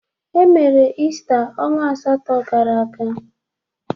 Emere Ista ọnwa asatọ gara aga.